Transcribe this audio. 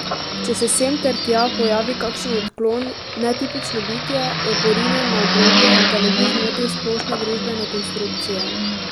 Če se sem ter tja pojavi kakšen odklon, netipično bitje, je porinjen na obrobje, da ne bi zmotil splošne družbene konstrukcije.